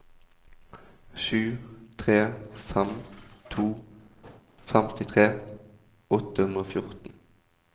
sju tre fem to femtitre åtte hundre og fjorten